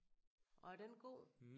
Og er den god?